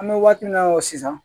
An bɛ waati min na i ko sisan